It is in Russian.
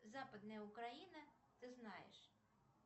западная украина ты знаешь